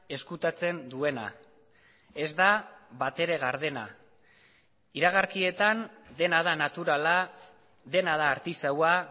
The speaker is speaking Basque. ezkutatzen duena ez da batere gardena iragarkietan dena da naturala dena da artisaua